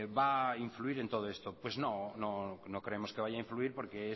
va a influir en todo esto pues no creemos que vaya a influir porque